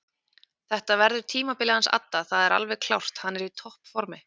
Þetta verður tímabilið hans adda það er alveg klárt hann er í toppformi.